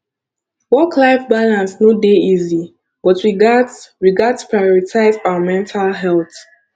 worklife balance no dey easy but we gats we gats prioritize our mental health